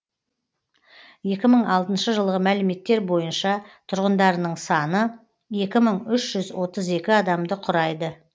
екі мың алтыншы жылғы мәліметтер бойынша тұрғындарының саны екі мың үш жүз отыз екі адамды құрайды